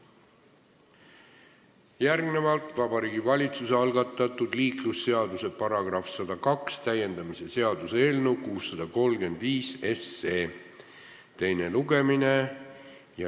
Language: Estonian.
Järgnevalt Vabariigi Valitsuse algatatud liiklusseaduse § 102 täiendamise seaduse eelnõu 635 teine lugemine.